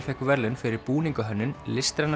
fékk verðlaun fyrir búiningahönnun listræna